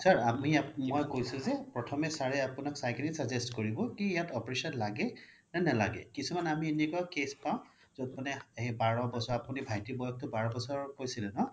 sir মই কৈছো যে প্ৰথমে sir ৰে আপোনাক চাই কিনে suggest কৰিব কি ইয়াত operation লাগে নে নেলাগে কিছুমান আমি এনেকুৱা case পাও য'ত বাৰ বছৰ আপোনি ভাইতিৰ বয়সতো বাৰ বছৰ কৈছিল ন